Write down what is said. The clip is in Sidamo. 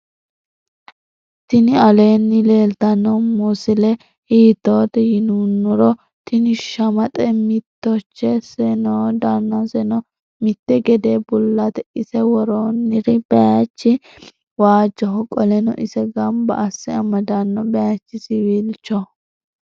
tini alenni leltano mosile hitote yinunoro. tini shamaxe mittichose noo. dannaseno mitte gede bulate ise woroniri bayichi wajoho. qoleno ise ganba ase amadano bayichi siwilchoho.